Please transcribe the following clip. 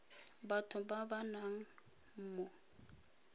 batho ba ba nnang mo